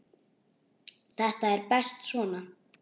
Þetta er best svona.